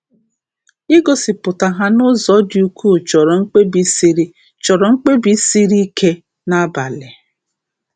Igosipụta ha n’ụzọ dị ukwuu chọrọ mkpebi siri chọrọ mkpebi siri ike na mgbalị.